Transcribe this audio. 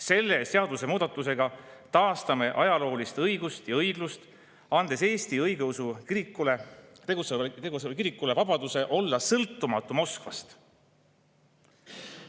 Selle seadusemuudatusega taastame ajaloolist õigust ja õiglust, andes Eestis tegutsevale õigeusu kirikule vabaduse olla sõltumatu Moskvast.